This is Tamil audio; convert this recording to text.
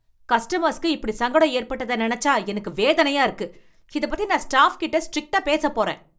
கஸ்டமர்ஸுக்கு இப்படி சங்கடம் ஏற்பட்டத நெனச்சா எனக்கு வேதனையா இருக்கு, இதப் பத்தி நான் ஸ்டாஃப் கிட்ட ஸ்ட்ரிக்டா பேசப் போறேன்